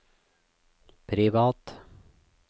privat